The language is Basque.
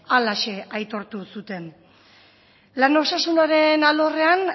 halaxe aitortu zuten lan osasunaren alorrean